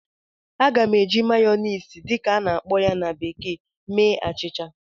Aga m eji "mayonnaise" dị ka a na-akpọ ya na bekee mee achịcha